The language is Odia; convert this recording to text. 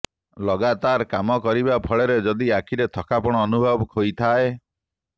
ଲଗାତାର କାମ କରିବା ଫଳରେ ଯଦି ଆଖିରେ ଥକାପଣ ଅନୁଭବ ହୋଇଥାଏ